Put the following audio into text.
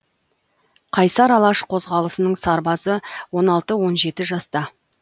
қайсар алаш қозғалысының сарбазы он алты он жеті жаста